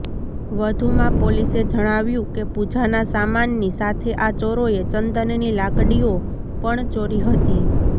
વધુમાં પોલીસે જણાવ્યું કે પૂજાના સામાનની સાથે આ ચોરોએ ચંદનની લાકડીઓ પણ ચોરી હતી